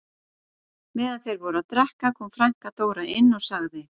Meðan þeir voru að drekka kom frænka Dóra inn og sagði